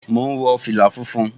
Mò ún wọ fìlà funfun